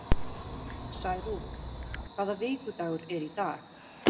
Særún, hvaða vikudagur er í dag?